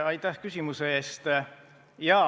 Aitäh küsimuse eest!